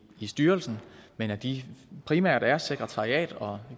i styrelsen men at de primært er sekretariat og